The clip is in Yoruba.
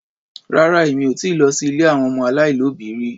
Rárá Èmi ò ti lọ sí ilé àwọn ọmọ aláìlóbìí rí.